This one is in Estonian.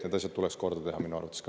Need asjad tuleks korda teha minu arvates ka.